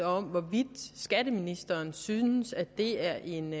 om hvorvidt skatteministeren synes at det er en